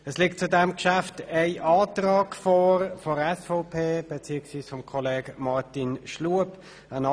Es liegt zu diesem Geschäft ein Antrag der SVP, beziehungsweise des Kollegen Grossrat Schlup vor.